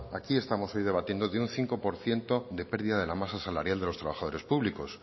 aquí estamos hoy debatiendo de un cinco por ciento de pérdida de la masa salarial de los trabajadores públicos